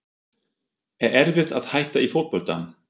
Er erfitt að hætta í fótbolta?